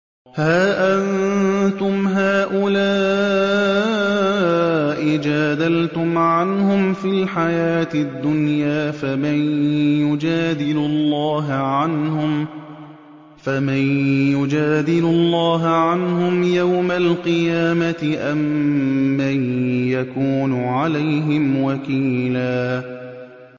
هَا أَنتُمْ هَٰؤُلَاءِ جَادَلْتُمْ عَنْهُمْ فِي الْحَيَاةِ الدُّنْيَا فَمَن يُجَادِلُ اللَّهَ عَنْهُمْ يَوْمَ الْقِيَامَةِ أَم مَّن يَكُونُ عَلَيْهِمْ وَكِيلًا